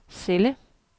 celle